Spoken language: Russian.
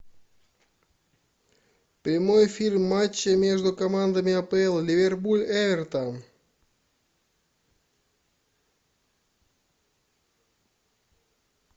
прямой эфир матча между командами апл ливерпуль эвертон